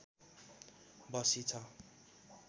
बसी छ